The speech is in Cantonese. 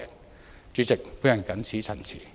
代理主席，我謹此陳辭。